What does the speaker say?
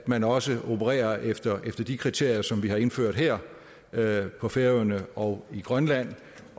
man også opererer efter de kriterier som vi har indført her her på færøerne og i grønland